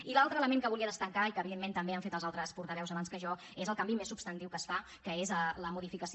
i l’altre element que volia destacar i que evidentment també ho han fet els altres portaveus abans que jo és el canvi més substantiu que es fa que és la modificació